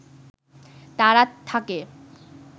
তারা থাকে